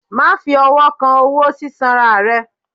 ma fí ọwọ kán ọwọ sisanra rẹ!